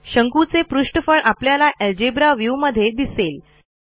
शंकूचे पृष्ठफळ आपल्याला अल्जेब्रा व्ह्यू मध्ये दिसेल